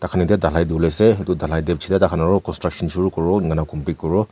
dakhan etiya dhalai kuribole ase etu dhalai de peche te aro construction shuru kuribo eniana complete kuribo.